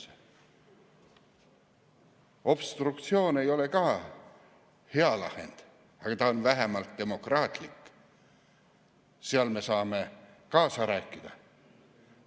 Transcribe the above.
Ka obstruktsioon ei ole hea lahend, aga ta on vähemalt demokraatlik, sest me saame kaasa rääkida.